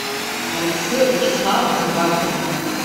алексея вячеславовну бакину